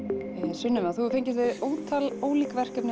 Sunneva þú hefur fengist við ótal ólík verkefni